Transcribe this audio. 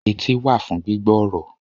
Etí wà fún gbígbọ́ ọ̀rọ̀